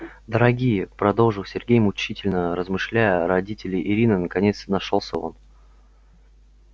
дорогие продолжил сергей мучительно размышляя родители ирины наконец нашёлся он